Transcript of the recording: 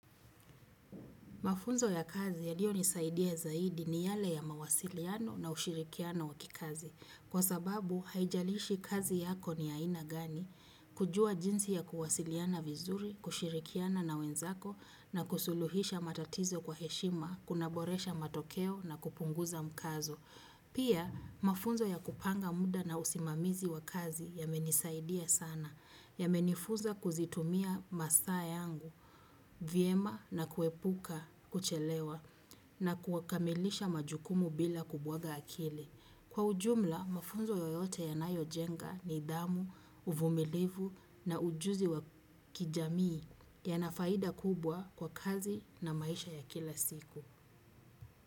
Mafunzo ya kazi yaliyonisaidia zaidi ni yale ya mawasiliano na ushirikiano wa kikazi. Kwa sababu, haijalishi kazi yako ni aina gani kujua jinsi ya kuwasiliana vizuri, kushirikiana na wenzako na kusuluhisha matatizo kwa heshima, kunaboresha matokeo na kupunguza mkazo. Pia, mafunzo ya kupanga muda na usimamizi wa kazi yamenisaidia sana, yamenifunza kuzitumia masaa yangu, vyema na kuepuka kuchelewa na kuakamilisha majukumu bila kubwaga akili. Kwa ujumla, mafunzo yoyote yanayojenga nidhamu, uvumilivu na ujuzi wa kijamii yanafaida kubwa kwa kazi na maisha ya kila siku.